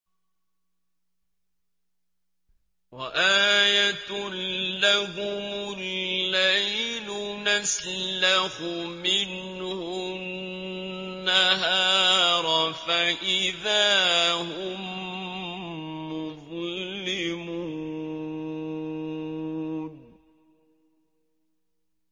وَآيَةٌ لَّهُمُ اللَّيْلُ نَسْلَخُ مِنْهُ النَّهَارَ فَإِذَا هُم مُّظْلِمُونَ